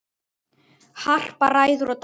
Harpa ræður og dælir.